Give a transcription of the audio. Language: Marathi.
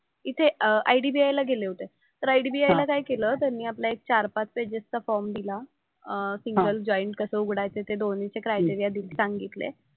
इथे IDBI ला गेले होते. तर IDBI ला काय केलं त्यांनी आपला एक चार-पाच पेजेसचा फॉर्म दिला अं सिंगल, जॉईंट कसं उघडायचंय ते दोन्हीचे क्रायटेरिया सांगितले.